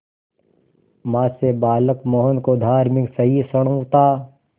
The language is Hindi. मां से बालक मोहन को धार्मिक सहिष्णुता